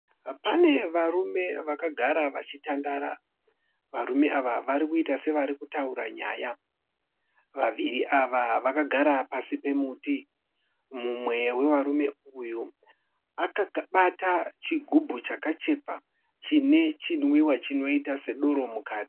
Pane varume vakagara vachitandara. Varume ava varikuita sevari kutaura nyaya. Vaviri ava vakagara pasi pemuti mumwe wevarume uyu akabata chigubhu chakachekwa chinoita sechine doro mukati.